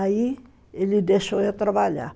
Aí ele deixou eu trabalhar.